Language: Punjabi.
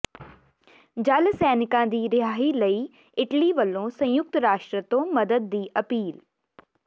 ਜਲ ਸੈਨਿਕਾਂ ਦੀ ਰਿਹਾਈ ਲਈ ਇਟਲੀ ਵੱਲੋਂ ਸੰਯੁਕਤ ਰਾਸ਼ਟਰ ਤੋਂ ਮਦਦ ਦੀ ਅਪੀਲ